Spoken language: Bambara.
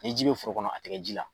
Ni ji bɛ foro kɔnɔ a ti kɛ ji la.